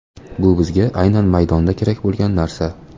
Bu bizga aynan maydonda kerak bo‘lgan narsa.